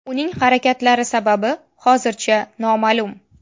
Uning harakatlari sababi hozircha noma’lum.